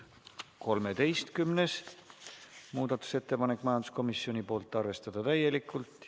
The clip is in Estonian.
13. muudatusettepanek, majanduskomisjonilt, seisukoht: arvestada täielikult.